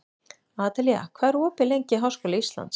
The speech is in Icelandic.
Adelía, hvað er opið lengi í Háskóla Íslands?